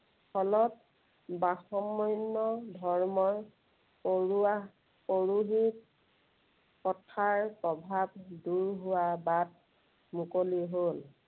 ফলত, বাষমন্য় ধৰ্মৰ, অৰোৱাহ পৰোহিত প্ৰথাৰ প্ৰভাৱ দূৰ হোৱাৰ বাট মুকলি হ'ল।